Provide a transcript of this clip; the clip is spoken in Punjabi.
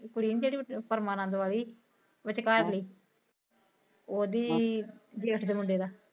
ਕੁੜੀ ਨੀ ਜੇੜੀ ਪਰਮਾਨੰਦ ਵਾਲੀ ਵਿਚ ਵਿੱਚਕਾਰਲੀ ਉਂਦੇ ਜੇਠ ਦੇ ਮੁੰਡੇ ਦਾ